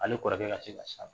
Ale kɔrɔkɛ ka se ka